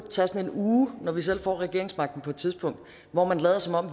uge når vi selv får regeringsmagten på et tidspunkt hvor vi lader som om